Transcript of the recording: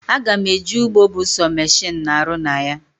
Aga m eje ugbo bụ sọ mechinu na arụ na ya